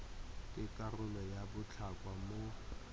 ke karolo ya botlhokwa mo